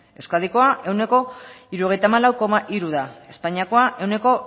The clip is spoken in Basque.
euskadiko ehuneko hirurogeita hamalau koma hiru da espainiako ehuneko